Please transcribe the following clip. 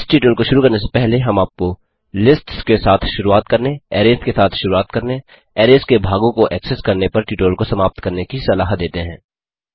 इस ट्यूटोरियल को शुरू करने से पहले हम आपको लिस्ट्स के साथ शुरुआत करने अरैज़ के साथ शुरुआत करने अरैज़ के भागों को एक्सेस करने पर ट्यूटोरियल को समाप्त करने की सलाह देते हैं